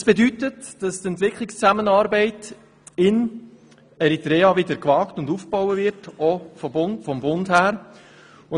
Dies bedeutet, dass die Entwicklungszusammenarbeit in Eritrea wieder gewagt und aufgebaut wird, auch vonseiten des Bundes.